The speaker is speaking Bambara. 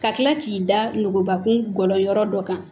Ka tila k'i da nogobakun gɔlɔyɔrɔ dɔ kan